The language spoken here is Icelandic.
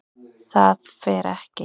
ÞAÐ FER EKKI